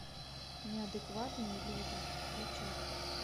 неадекватные люди включай